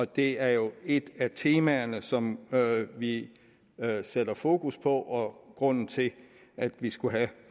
det er jo et af temaerne som vi sætter fokus på og er grunden til at vi skulle have